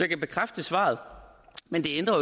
kan bekræfte svaret men det ændrer